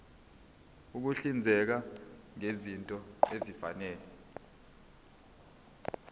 ukuhlinzeka ngezinto ezifanele